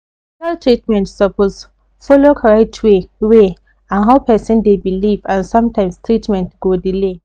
hospital treatment suppose follow correct way way and how person dey believe and sometimes treatment go delay